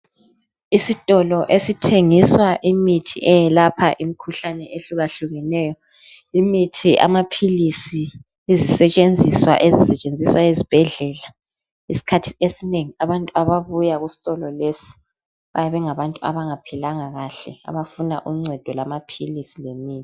Isitolo esithengiswa imithi eyelapha imikhuhlane ehlukahlukeneyo, imithi amaphilisi izisetshenziswa ezisetshenziswa ezibhedlela, isikhathi esinengi abantu ababuya kusitolo lesi bayabe bengabantu abangaphilanga kahle abafuna uncedo lamaphilisi lemithi.